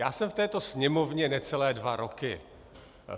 Já jsem v této Sněmovně necelé dva roky.